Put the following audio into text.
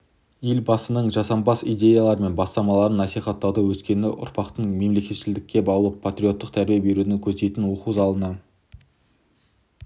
елбасының жасампаз идеялары мен бастамаларын насихаттауды өскелең ұрпақты мемлекетшілдікке баулып патриоттық тәрбие беруді көздейтін оқу залына